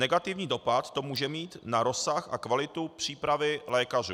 Negativní dopad to může mít na rozsah a kvalitu přípravy lékařů.